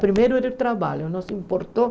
Primeiro era o trabalho, não se importou.